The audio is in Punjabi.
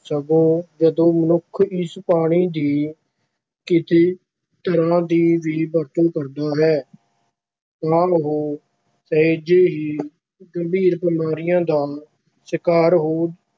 ਸਗੋਂ ਜਦੋਂ ਮਨੁੱਖ ਇਸ ਪਾਣੀ ਦੀ ਕਿਸੇ ਤਰ੍ਹਾਂ ਦੀ ਵੀ ਵਰਤੋਂ ਕਰਦਾ ਹੈ ਤਾਂ ਉਹ ਸਹਿਜੇ ਹੀ ਗੰਭੀਰ ਬਿਮਾਰੀਆਂ ਦਾ ਸ਼ਿਕਾਰ ਹੋ